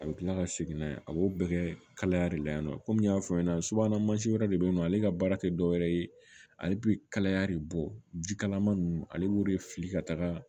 A bɛ kila ka segin n'a ye a b'o bɛɛ kɛ kaya de la yan nɔ komi n y'a fɔ ɲɛna subahana mansi wɛrɛ de bɛ yen nɔ ale ka baara tɛ dɔwɛrɛ ye ale bɛ kalaya de bɔ jikalaman ninnu ale b'o de fili ka taga